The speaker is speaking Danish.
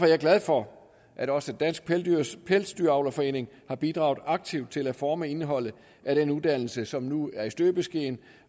jeg glad for at også dansk pelsdyravlerforening har bidraget aktivt til at forme indholdet af den uddannelse som nu er i støbeskeen